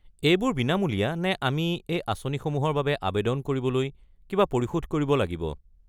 এইবোৰ বিনামূলীয়া নে আমি এই আঁচনিসমূহৰ বাবে আৱেদন কৰিবলৈ কিবা পৰিশোধ কৰিব লাগিব?